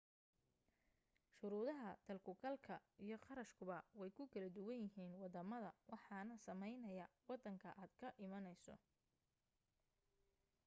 shuruudaha dal-ku-galka iyo qarashkuba way ku kala duwan yihiin waddamada waxaana saameynaya waddanka aad ka imanayso